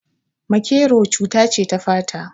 Maƙero cuta ce ta fata